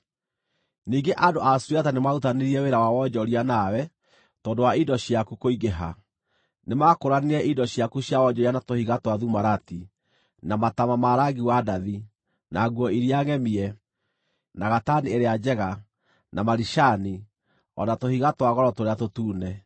“ ‘Ningĩ andũ a Suriata nĩmarutithanirie wĩra wa wonjoria nawe tondũ wa indo ciaku kũingĩha; nĩmakũũranirie indo ciaku cia wonjoria na tũhiga twa thumarati, na mataama ma rangi wa ndathi, na nguo iria ngʼemie, na gatani ĩrĩa njega, na maricani, o na tũhiga twa goro tũrĩa tũtune.